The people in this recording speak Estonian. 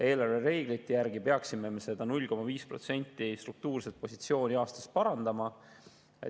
Eelarvereeglite järgi peaksime me struktuurset positsiooni 0,5% aastas parandama.